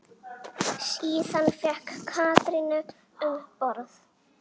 Síðan fékk Katrín umboð.